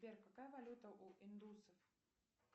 сбер какая валюта у индусов